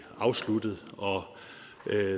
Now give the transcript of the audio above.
afsluttet